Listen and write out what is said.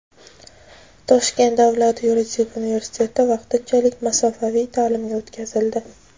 Toshkent davlat yuridik universiteti vaqtinchalik masofaviy ta’limga o‘tkazildi.